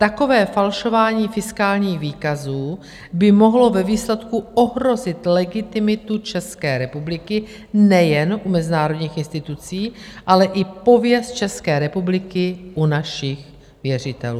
Takové falšování fiskálních výkazů by mohlo ve výsledku ohrozit legitimitu České republiky nejen u mezinárodních institucí, ale i pověst České republiky u našich věřitelů.